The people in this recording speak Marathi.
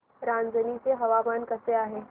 रांझणी चे हवामान कसे आहे